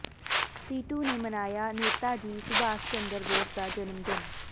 ਸੀਟੂ ਨੇ ਮਨਾਇਆ ਨੇਤਾ ਜੀ ਸੁਭਾਸ਼ ਚੰਦਰ ਬੋਸ ਦਾ ਜਨਮ ਦਿਨ